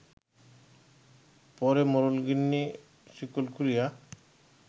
পরে মোড়লগিন্নি শিকল খুলিয়া